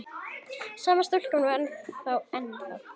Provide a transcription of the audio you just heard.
Sama stúlkan var þar ennþá.